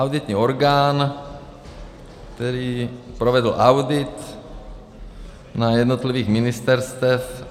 Auditní orgán, který provedl audit na jednotlivých ministerstvech.